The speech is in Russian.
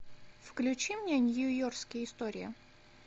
включи мне нью йоркские истории